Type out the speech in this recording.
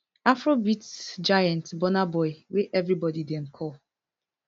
afrobeats giant burna boy wey evri body dem call